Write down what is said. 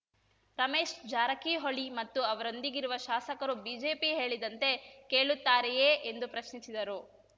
ರಮೇಶ್‌ ಜಾರಕಿಹೊಳಿ ಮತ್ತು ಅವರೊಂದಿಗಿರುವ ಶಾಸಕರು ಬಿಜೆಪಿ ಹೇಳಿದಂತೆ ಕೇಳುತ್ತಾರೆಯೇ ಎಂದು ಪ್ರಶ್ನಿಸಿದರು